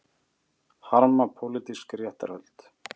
Harma pólitísk réttarhöld